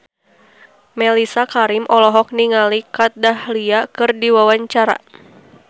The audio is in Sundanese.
Mellisa Karim olohok ningali Kat Dahlia keur diwawancara